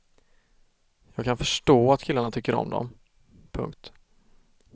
Jag kan förstå att killarna tycker om dem. punkt